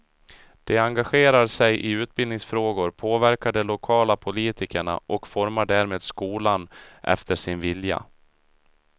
De engagerar sig i utbildningsfrågor, påverkar de lokala politikerna och formar därmed skolan efter sin vilja.